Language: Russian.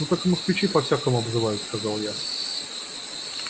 ну так и москвичи по-всякому обзывают сказал я